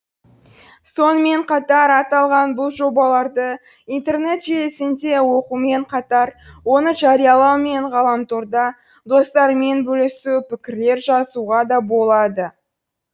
сонымен қатар аталған бұл жобаларды интернет желісінде оқумен қатар оны жариялау мен ғаламторда достармен бөлісу пікірлер жазуға да болады